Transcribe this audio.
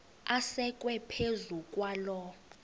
asekwe phezu kwaloo